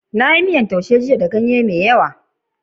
Na yi miyan kayan lambu jiya. Na yi amfani da ganye da yawa.